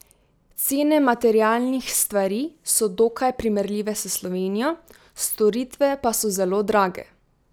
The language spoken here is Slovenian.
Cene materialnih stvari so dokaj primerljive s Slovenijo, storitve pa so zelo drage.